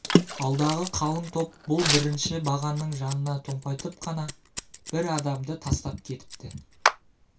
алдағы қалың топ бұл бірінші бағанның жанына томпайтып қана бір адамды тастап кетіпті